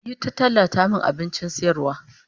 Yi ta tallata min abincin sayarwar